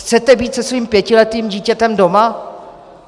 Chcete být se svým pětiletým dítětem doma?